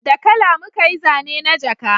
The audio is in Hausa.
Da kala muka yi zane na jaka